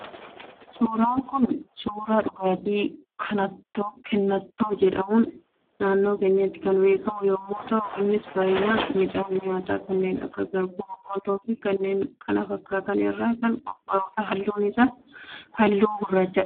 Suuraan Kun, suuraa dhugaatii kennattoo jedhamuun naannoo keenyatti kan beekamu yemmuu ta'u, innis baayyinaan midhaan nyaataa kanneen akka garbuu, boqolloo fi kanneen kana fakkaatan irraa kan qophaa'udha. Halluun isaas halluu gurracha